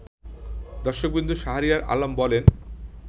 দর্শকবৃন্দ শাহরিয়ার আলম বলেন